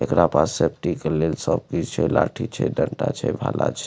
एकरा पास सेफ्टी के लेल सब कीछ छै लाठी छै डंडा छै भाला छै।